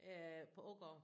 Øh på Ågård